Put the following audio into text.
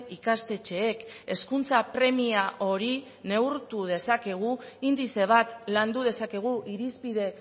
ikastetxeek hezkuntza premia hori neurtu dezakegu indize bat landu dezakegu irizpide